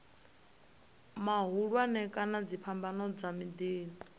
mahulwane kana dziphambano dza miḓini